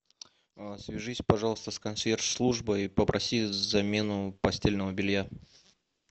свяжись пожалуйста с консьерж службой и попроси замену постельного белья